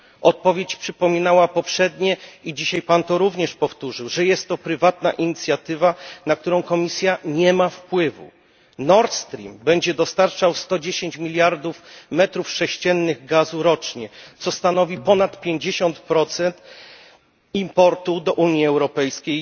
Odpowiedź przypominała poprzednie i dzisiaj Pan to również powtórzył, że jest to prywatna inicjatywa, na którą Komisja nie ma wpływu. Nord Stream będzie dostarczał 110 miliardów metrów sześciennych gazu rocznie, co stanowi ponad 50 importu tego surowca do Unii Europejskiej.